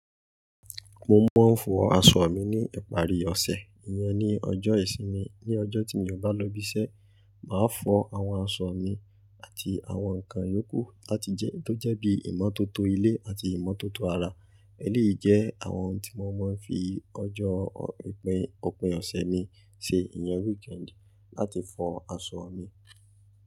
Mo máa ń fọ aṣọ mi ní ìparí ọ̀sẹ̀. Ìyẹn ni ọjọ́ ìsinmi. Ni ọjọ́ tí mi ò bá lọ ibi iṣẹ́, màá fọ àwọn aṣọ mi àti àwọn nǹkan yókù láti jẹ tó jẹ́ bí ìmọ́tótó ilé àti ìmọ́tótó ara. Èléyìí jẹ́ àwọn ohun tí mo máa ń fi ọjọ́ òpin ọ̀sẹ̀ mi ṣe. Iyán weekend láti fọ aṣọ mi.